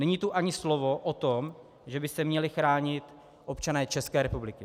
Není tu ani slovo o tom, že by se měli chránit občané České republiky.